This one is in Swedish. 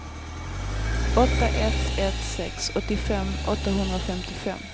åtta ett ett sex åttiofem åttahundrafemtiofem